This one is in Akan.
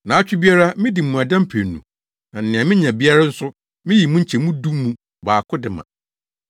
Nnaawɔtwe biara midi mmuada mprenu na nea minya biara nso, miyi mu nkyemu du mu baako de ma.’